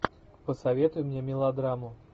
посоветуй мне мелодраму